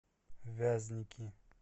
вязники